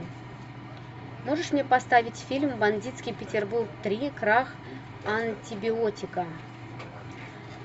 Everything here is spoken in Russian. можешь мне поставить фильм бандитский петербург три крах антибиотика